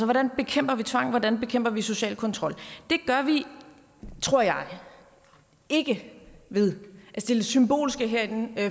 hvordan bekæmper vi tvang hvordan bekæmper vi social kontrol det gør vi tror jeg ikke ved at stille symbolske